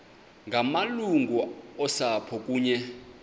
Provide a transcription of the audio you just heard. ngamalungu osapho kunye